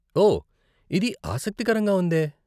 ఓ, ఇది ఆసక్తికరంగా ఉందే .